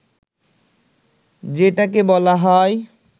যেটাকে বলা হয়